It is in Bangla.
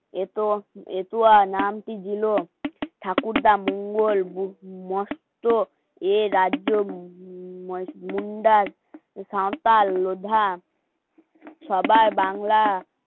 এতো নামটি ভিনো ঠাকুরটা মঙ্গল, বুদ্ধ, মস্ত এ রাজ্য মুন্ডার সাঁওতাল লোধা সবার বাংলা